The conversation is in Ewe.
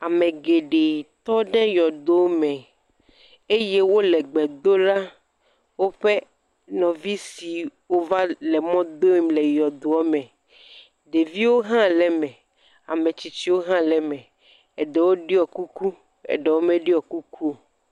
Ame geɖe tɔ ɖe yɔdo me eye wo le gbe dom ɖe woƒe nɔvi siwo va le mɔdom le yɔdoa me. Ɖeviwo hã le ame, ame tsitsiwo hã le eme. Eɖewo ɖɔ kuku, eɖewo meɖɔ kuku o.